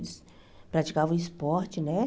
Eles praticavam esporte, né?